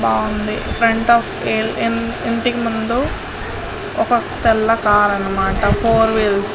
బాగుంది ఫ్రంట్ ఇంటి ముందు ఒక తెల్ల కార్ అనమాట ఫోర్ వీల్స్ .